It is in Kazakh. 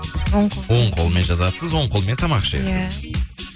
оң қол оң қолмен жазасыз оң қолмен тамақ ішесіз